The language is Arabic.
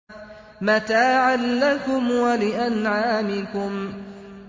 مَّتَاعًا لَّكُمْ وَلِأَنْعَامِكُمْ